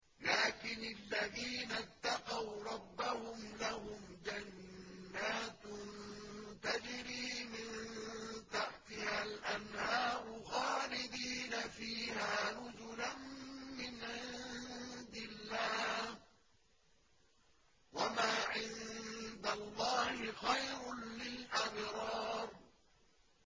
لَٰكِنِ الَّذِينَ اتَّقَوْا رَبَّهُمْ لَهُمْ جَنَّاتٌ تَجْرِي مِن تَحْتِهَا الْأَنْهَارُ خَالِدِينَ فِيهَا نُزُلًا مِّنْ عِندِ اللَّهِ ۗ وَمَا عِندَ اللَّهِ خَيْرٌ لِّلْأَبْرَارِ